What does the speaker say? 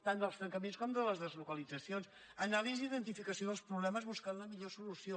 tant dels tancaments com de les deslocalitzacions anàlisi d’identificació dels problemes buscant la millor solució